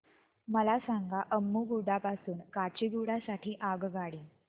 मला सांगा अम्मुगुडा पासून काचीगुडा साठी आगगाडी